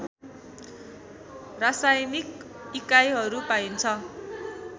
रासायनिक इकाइहरू पाइन्छ